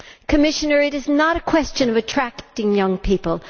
Commissioner, it is not a question of attracting young people.